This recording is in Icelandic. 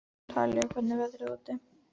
Talía, hvernig er veðrið úti?